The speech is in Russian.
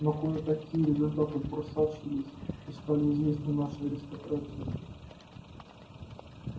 но кое-какие результаты просочились и стали известны нашей аристократии